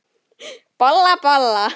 Bolla, bolla!